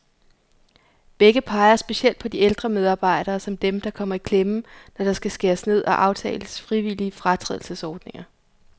Begge peger specielt på de ældre medarbejdere, som dem, der kommer i klemme, når der skal skæres ned og aftales frivillige fratrædelsesordninger.